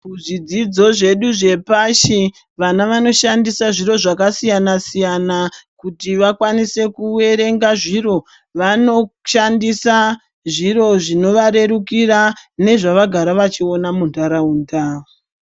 Muzvidzidzo zvedu zvepashi vana vanoshandisa zviro zvakasiyana kuti vakwanise kuerenga zviro vanoshandisa zviro zvinovarwrukira nezvavagara vachiita munharaunda.